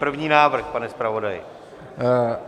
První návrh, pane zpravodaji.